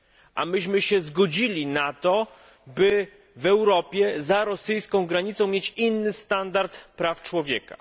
A myśmy się zgodzili na to, by w Europie, za rosyjską granicą, mieć inny standard praw człowieka.